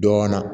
Dɔɔnin na